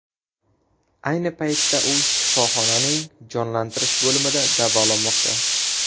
Ayni paytda u shifoxonaning jonlantirish bo‘limida davolanmoqda.